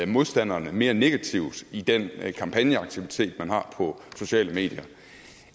modstanderne mere negativt i den kampagneaktivitet man har på sociale medier